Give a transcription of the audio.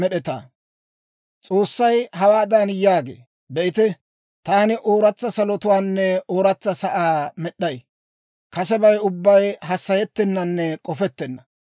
S'oossay hawaadan yaagee; «Be'ite, taani ooratsa salotuwaanne ooratsa sa'aa med'd'ay; kasebay ubbay hassayettennanne k'ofettenna.